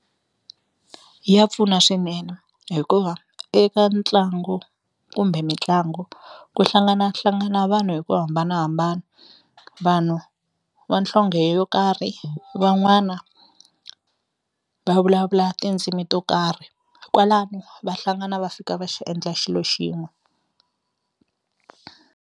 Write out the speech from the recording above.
Ya pfuna swinene hikuva eka ntlangu kumbe mitlangu ku hlanganahlangana vanhu hi ku hambanahambana vanhu va nhlonge yo karhi van'wana va vulavula tindzimi to karhi kwalano va hlangana va fika va xi endla xilo xin'we.